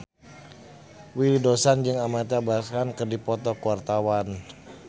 Willy Dozan jeung Amitabh Bachchan keur dipoto ku wartawan